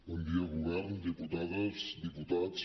bon dia govern diputades diputats